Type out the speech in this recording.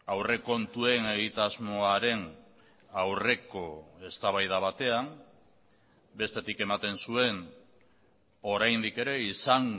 aurrekontuen egitasmoaren aurreko eztabaida batean bestetik ematen zuen oraindik ere izan